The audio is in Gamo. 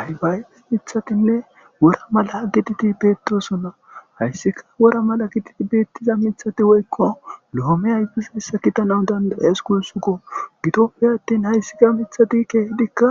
Aybayeis mithatinne wora malaa gititi beetosonna hayssika wora mala gititi beettiza mithati woykko loome aybisissa kitanan danda'es kunsukko gitoppe attin hayssika mithati keehidikka